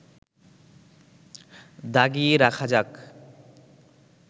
দাগিয়ে রাখা যাক